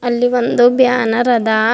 ಅಲ್ಲಿ ಒಂದು ಬ್ಯಾನರ್ ಅದ ಅದ --